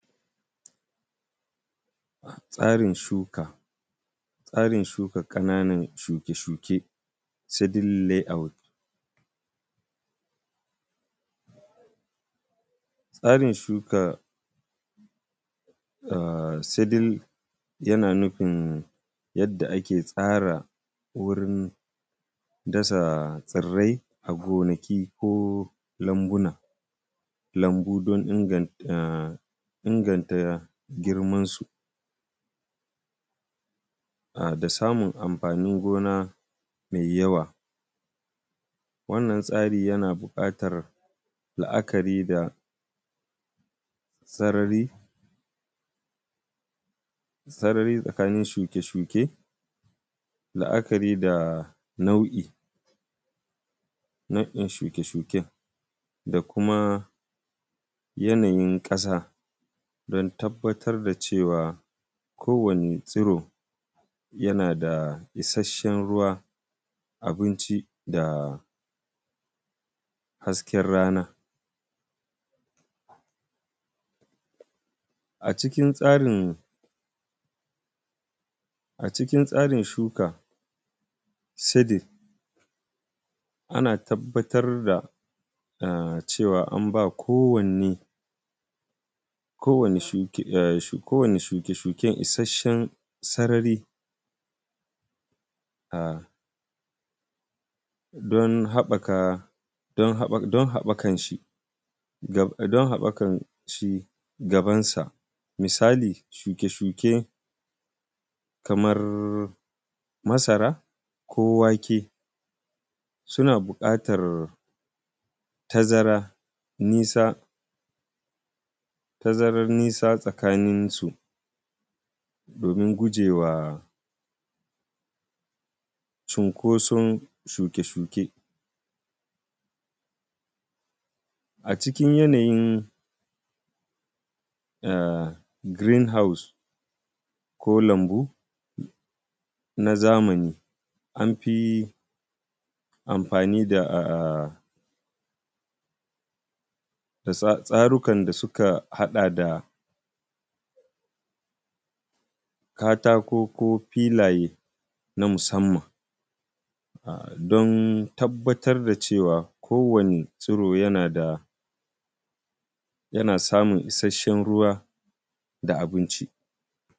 Tsarin shuka. Tsarin shuka ƙananan shuke shuke seedling layout. Tsarin shuka seedling yana nufin yadda ake tsara wurin dasa tsirrai a gonaki ko lambuna, lumbu don inganta girman su da samun amfanin gona mai yawa. Wannan tsari yana buƙatar la'akari da sarari tsakanin shuke shuke, la'akari da nau'in shuke shuke, da kuma yanayin ƙasa don tabbatar da cewa kowane tsiro yana da isheshen ruwa, abinci da hasken rana. A cikin tsarin shuka seedling ana tabbatar da cewa an bawa kowane shuke shuke isheshen sarari don haɓɓakan shi gaban sa, misali shuke shuke kamar masara, ko wake suna buƙatar tazara, tazaran nisa tsakanin su domin gujewa cunkoson shuke shuke. A cikin yanayi green house ko lambu na zamani an fi amfani da tsarukan da suka haɗa da katako ko filaye na musanman don tabbatar da cewa kowanne tsiro yana da, yana samun ishashen ruwa da abinci.